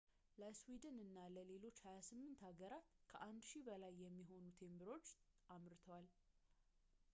ለስዊድን እና ለሌሎች 28 ሀገራት ከ1,000 በላይ የሚሆኑ ቴምብሮችን አምርቷል